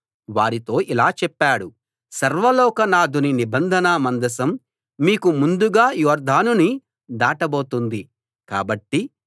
వారితో ఇలా చెప్పాడు సర్వలోక నాధుని నిబంధన మందసం మీకు ముందుగా యొర్దానుని దాటబోతుంది కాబట్టి